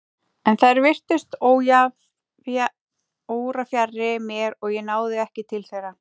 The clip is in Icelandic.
En þær virtust órafjarri mér og ég náði ekki til þeirra.